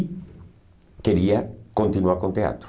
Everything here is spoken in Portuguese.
E queria continuar com o teatro.